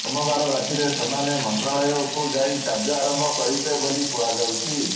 ସୋମବାର ରାତିରେ ସେମାନେ ମନ୍ତ୍ରଣାଳୟକୁ ଯାଇ କାର୍ଯ୍ୟ ଆରମ୍ଭ କରିବେ ବୋଲି କୁହାଯାଉଛି